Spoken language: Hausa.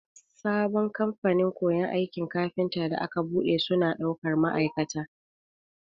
Sabon kamfanin koyon aikin kafinta da aka buɗe, suna ɗaukar ma'aikata.